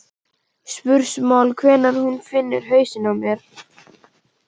spursmál hvenær hún finnur hausinn á mér.